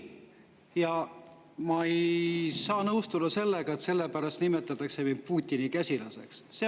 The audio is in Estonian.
Ja ma ei saa nõustuda sellega, et selle pärast nimetatakse mind Putini käsilaseks.